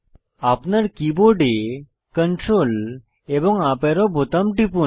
আপনার কীবোর্ডে Ctrl এবং ইউপি অ্যারো বোতাম টিপুন